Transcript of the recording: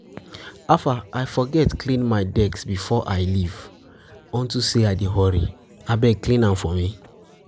I forget clean my desk before I leave unto say I dey hurry. Abeg clean am for me.